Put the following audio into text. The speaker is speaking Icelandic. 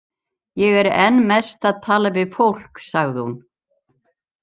Ég er enn mest að tala við fólk, sagði hún.